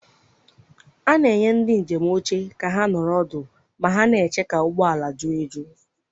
A na-enye ndị njem oche ka ha nọrọ ọdụ ma ha na-eche ka ụgbọ ala ju eju.